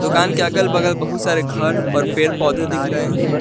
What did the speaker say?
दुकान के अगल बगल बहुत सारे घर और पेड़ पौधे दिख रहे हैं।